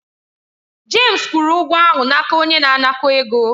James kwụrụ ụgwọ ahụ n'aka onye na-anakọ̀ ego.